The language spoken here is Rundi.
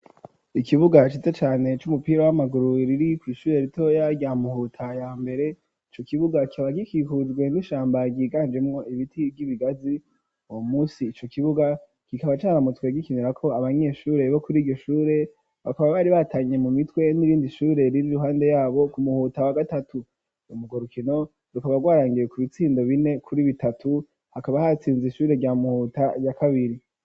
Ikibuga ciza cane c'umupira w'amaguru riri kw'ishure ritoya rya Muhuta ya mbere ico kibuga kikaba gikikujwe n'ishamba ryiganjemwo ibiti vy'ibigazi uwo musi ico kibuga kikaba caramutswe gikinirako abanyeshure bo kuriryo shure bakaba bari batanye mu mitwe n'irindi shure riri iruhande yabo ku Muhuta wa gatatu urwo rukino rukaba rwarangiye ku bitsindo bine kuri bitatu hakaba hatsinze ishure rya Muhuta ya kabiri.